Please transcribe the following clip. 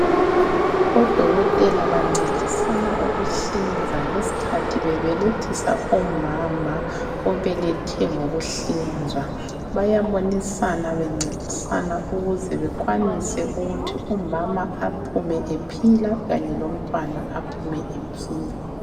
Odokotela bancedisana ukuhlinza ngesikhathi bebelethisa umama obelethe ngokuhlinzwa, bayabonisana bencedisana ukuze bekwanise ukuthi umama aphume ephila, kanye lomntwana aphume ephila.